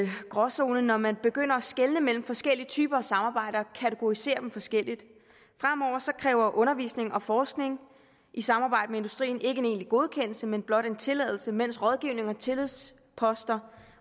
gråzone når man begynder at skelne mellem forskellige typer af samarbejde og kategoriserer dem forskelligt fremover kræver undervisning og forskning i samarbejde med industrien ikke en egentlig godkendelse men blot en tilladelse mens rådgivning og tillidsposter